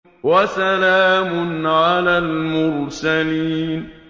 وَسَلَامٌ عَلَى الْمُرْسَلِينَ